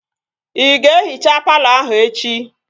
Ị ga-ehichaa palọ ahụ echi?